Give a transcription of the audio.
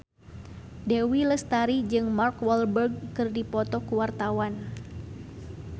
Dewi Lestari jeung Mark Walberg keur dipoto ku wartawan